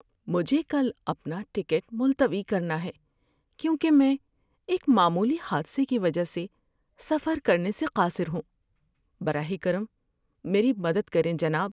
مجھے کل اپنا ٹکٹ ملتوی کرنا ہے کیونکہ میں ایک معمولی حادثے کی وجہ سے سفر کرنے سے قاصر ہوں۔ براہ کرم میری مدد کریں جناب۔